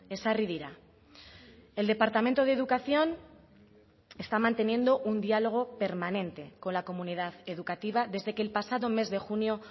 ezarri dira el departamento de educación está manteniendo un diálogo permanente con la comunidad educativa desde que el pasado mes de junio